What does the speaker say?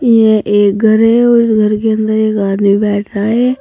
ये एक घर है और घर के अंदर एक आदमी बैठा है।